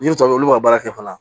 N'i tɔɲɔgɔn olu ka baara fana